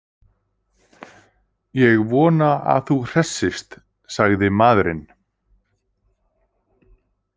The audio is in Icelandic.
Ég vona að þú hressist, sagði maðurinn.